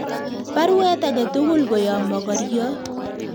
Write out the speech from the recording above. Baruet agetugul koyob mokoryoot